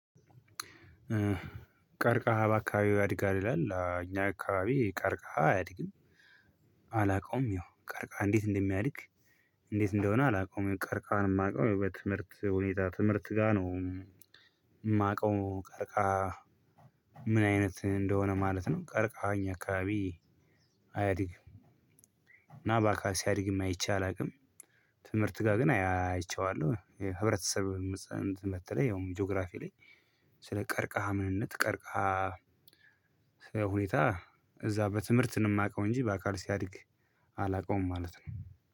ቀርቀሃ በአካባቢው ያድጋል ይላል እኛ አካባቢ ቀርቀሃ አያድግም። አላውቀውም ይሄው ቀርቃሃ እንዴት እንደሚያድግ? እንዴት እንደሆነ አላውቀውም ቀርቀሃን እማውቀው በትምህርት ሁኔታ ትምህርት ጋር ነው እማውቀው ቀርቀሃ። ምን አይነት እንደሆነ ማለት ነው? ቀርቀሃ እኛ አካባቢ አያድግም። ናባካ ሲያድግም አይቼ አላውቅም። ትምህርት ጋ ግን አይቼዋለሁ ህብረተሰብ በተለይ ያውም ጂኦግራፊ ላይ ስለ ቀርቀሃ ምንነት ቀርቀሃ። ሁኔታ እዛ በትምህርት ነው እማቀው እንጂ በአካል ሲያድግ። አላቀውም ማለት ነው።